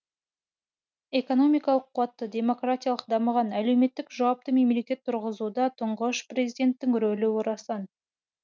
экономикалық қуатты демократиялық дамыған әлеуметтік жауапты мемлекет тұрғызуда тұңғыш президенттің рөлі орасан